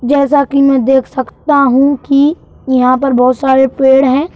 जैसा कि मैं देख सकता हूं कि यहाँ पर बहुत सारे पेड़ हैं।